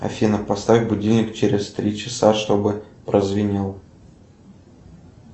афина поставь будильник через три часа чтобы прозвенел